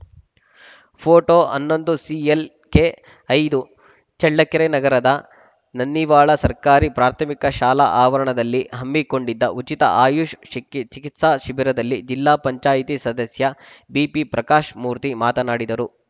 photo ಹನ್ನೊಂದು CLK ಐದು ಚಳ್ಳಕೆರೆ ನಗರದ ನನ್ನಿವಾಳ ಸರ್ಕಾರಿ ಪ್ರಾಥಮಿಕ ಶಾಲಾ ಆವರಣದಲ್ಲಿ ಹಮ್ಮಿಕೊಂಡಿದ್ದ ಉಚಿತ ಆಯುಷ್‌ ಶಿ ಚಿಕಿತ್ಸಾ ಶಿಬಿರದಲ್ಲಿ ಜಿಲ್ಲಾ ಪಂಚಾಯಿತಿ ಸದಸ್ಯ ಬಿಪಿಪ್ರಕಾಶ್‌ಮೂರ್ತಿ ಮಾತನಾಡಿದರು